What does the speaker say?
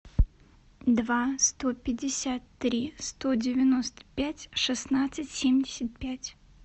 два сто пятьдесят три сто девяносто пять шестнадцать семьдесят пять